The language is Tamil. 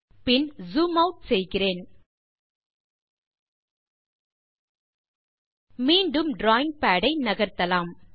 பின் ஜூம் ஆட் செய்கிறேன் மீண்டும் டிராவிங் பாட் ஐ நகர்த்தலாம்